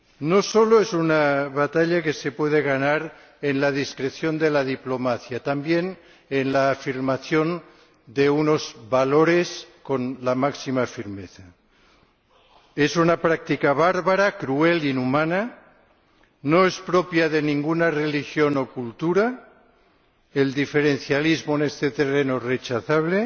No solo es una batalla que se puede ganar en la discreción de la diplomacia, también en la afirmación de unos valores con la máxima firmeza. Es una práctica bárbara, cruel e inhumana, no es propia de ninguna religión o cultura —el diferencialismo en este terreno es rechazable—